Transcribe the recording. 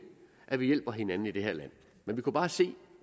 at vi hjælper hinanden i det her land men vi kunne bare se